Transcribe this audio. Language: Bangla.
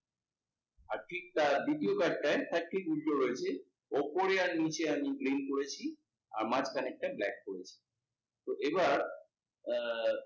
আর ঠিক তার দ্বিতীয় কয়েকটায় তার ঠিক উল্টো রয়েছে ওপরে আর নিচে আমি green করেছি আর মাঝখানেরটা black করেছ। তো এবার, আহ